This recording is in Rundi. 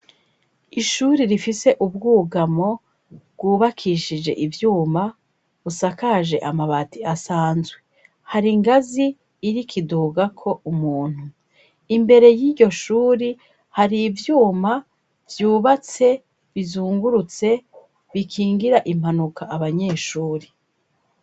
Ishuri rifise ubwugamo bwubakishije ivyuma busakaje amabati asanzwe. Hari ingazi iriko idugako umuntu. Imbere y'iryo shuri hari ivyuma vyubatse bizungurutse bikingira impanuka abanyeshuri.